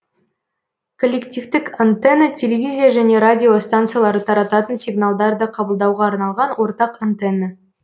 коллективтік антенна телевизия және радио стансалары тарататын сигналдарды қабылдауға арналған ортақ антенна